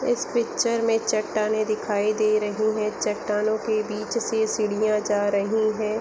इस पिक्चर में चट्टानें दिखाई दे रहीं है चट्टानें की बीच से सीढियाँ जा रहीं है ।